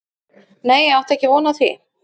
Nei ég átti ekki von á því.